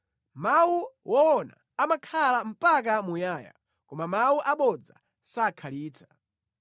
Mawu woona amakhala mpaka muyaya koma mawu abodza sakhalitsa.